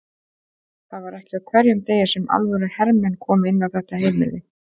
Það var ekki á hverjum degi sem alvöru hermenn komu inn á þetta heimili.